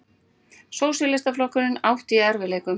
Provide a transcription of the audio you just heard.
Sósíalistaflokkurinn átti í erfiðleikum.